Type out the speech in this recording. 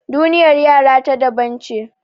Duniyar yara ta daban ce.